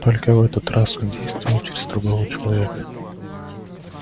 только в этот раз он действовал через другого человека